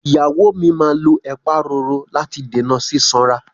Ìyàwó mi máa lo ẹ̀pa roro láti dènà sísanra.